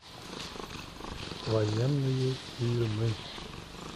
военные фильмы